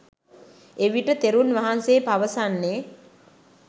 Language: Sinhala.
එවිට තෙරුන් වහන්සේ පවසන්නේ